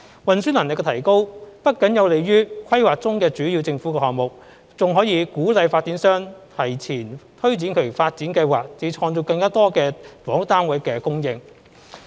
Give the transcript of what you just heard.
運輸能力的提高不僅有利於規劃中的主要政府項目，還能鼓勵發展商提前推展其發展計劃，以及造就更多房屋單位的供應。